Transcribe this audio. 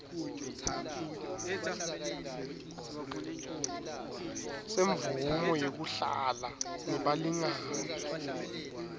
semvumo yekuhlala nebalingani